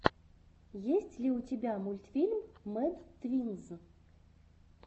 есть ли у тебя мультфильм мэд твинз